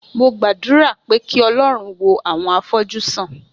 Mo gbàdúrà pé kí Ọlọ́run wo àwọn afọ́jú sàn.